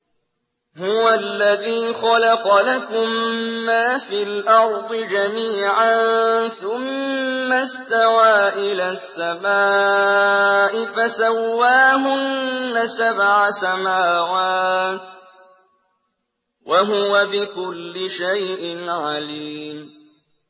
هُوَ الَّذِي خَلَقَ لَكُم مَّا فِي الْأَرْضِ جَمِيعًا ثُمَّ اسْتَوَىٰ إِلَى السَّمَاءِ فَسَوَّاهُنَّ سَبْعَ سَمَاوَاتٍ ۚ وَهُوَ بِكُلِّ شَيْءٍ عَلِيمٌ